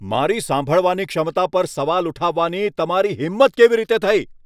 મારી સાંભળવાની ક્ષમતા પર સવાલ ઉઠાવવાની તમારી હિંમત કેવી રીતે થઈ?